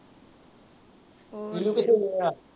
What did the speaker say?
ਕਿਥੇ ਗਿਆ?